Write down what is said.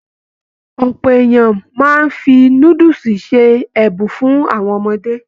Ọpọ èèyàn máa n fí núdúsí ṣe ẹbùn fún àwọn ọmọdé.